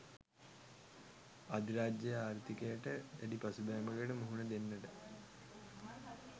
අධිරාජ්‍යයේ ආර්ථිකයට දැඩි පසුබෑමකට මුහුණ දෙන්නට